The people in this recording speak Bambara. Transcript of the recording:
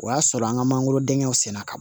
O y'a sɔrɔ an ka mangorodenw senna ka don